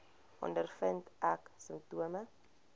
ondervind ek simptome